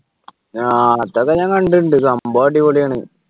ആഹ് മറ്റേത് ഞാൻ കണ്ടിട്ടുണ്ട് സംഭവം അടിപൊളിയാണ്